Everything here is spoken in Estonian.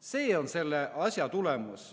See on selle asja tulemus.